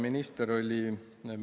Kuidagi jäi mulje …